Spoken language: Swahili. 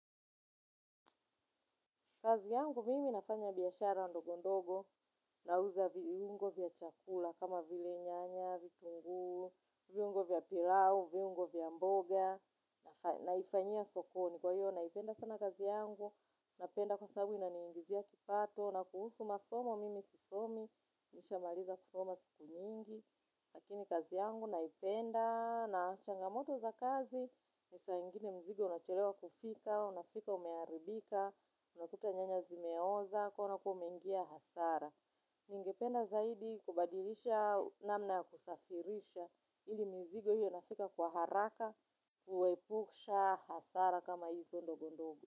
Kazi yangu mimi nafanya biashara ndogo ndogo nauza viungo vya chakula kama vile nyanya, vitunguu, viungo vya pilau, viungo vya mboga, naifanyia sokoni kwa hiyo naipenda sana kazi yangu, napenda kwasabu inaniingizia kipato na kuhusu masomo mimi sisomi, nishamaliza kusoma siku nyingi. Lakini kazi yangu naipenda na changamoto za kazi ni saa ingine mzigo unachelewa kufika, unafika umeharibika, unakuta nyanya zimeoza, kwaiyo unakuwa umengia hasara. Ningependa zaidi kubadilisha namna kusafirisha ili mizigo iwe inafika kwa haraka, kuepusha hasara kama hizo ndogo ndogo.